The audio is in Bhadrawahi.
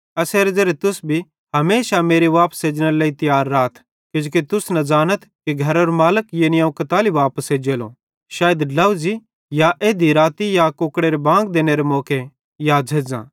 एसेरे ज़ेरे तुस भी हमेशा मेरे वापस एजनेरे लेइ तियार राथ किजोकि तुस न ज़ानथ कि घरेरो मालिक यानी अवं कताली वापस एज्जेलो शायद ड्लोझ़ी या एध्धी राती या कुकड़ेरे बांग देनेरे मौके या झ़ेज़्झ़ां